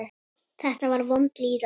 Þetta var vond líðan.